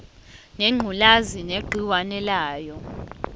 ngengculazi negciwane layo